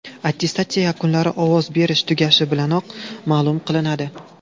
Attestatsiya yakunlari ovoz berish tugashi bilanoq ma’lum qilinadi.